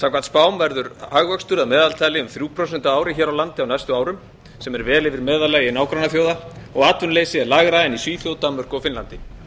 spám verður hagvöxtur að meðaltali um þrjú prósent á ári hér á landi á næstu árum sem er vel yfir meðallagi nágrannaþjóða og atvinnuleysi er lægra en í svíþjóð danmörku og finnlandi